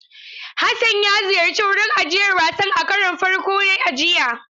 Hassan ya ziyarci wurin ajiyar wasan a karon farko a jiya.